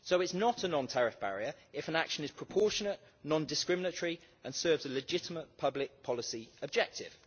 So it is not a non-tariff barrier if an action is proportionate, non-discriminatory and serves a legitimate public policy objective.